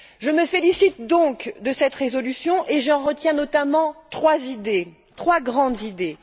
Je me félicite donc de cette résolution et j'en retiens notamment trois grandes idées.